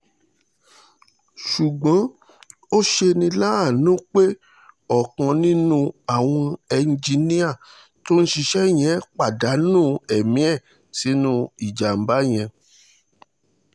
ṣùgbọ́n ó ṣe ní láàánú pé ọ̀kan nínú àwọn ẹ́ńjìnnìá tó ń ṣiṣẹ́ yẹn pàdánù pàdánù ẹ̀mí ẹ̀ sínú ìjàǹbá yẹn